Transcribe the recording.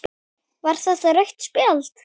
Var þetta rautt spjald?